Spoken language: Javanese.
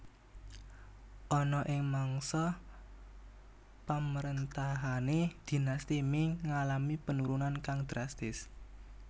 Ana ing mangsa pamrentahane Dinasti Ming ngalami penurunan kang drastis